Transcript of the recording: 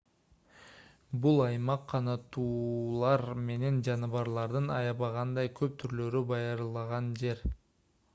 бул аймак канаттуулар менен жаныбарлардын аябагандай көп түрлөрү байырлаган жер